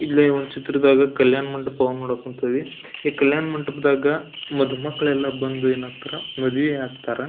ಇಲ್ಲೆ ಒಂದು ಚಿತ್ರದಾಗ ಕಲ್ಯಾಣ ಮಂಟಪ ನೋಡಾಕ್ ಕುಂತೀವಿ ಈ ಕಲ್ಯಾಣ ಮಂಟಪದಾಗ ಮದು ಮಕ್ಳೆಲ್ಲ ಬಂದು ಮದುವೆ ಆಗ್ತಾರ.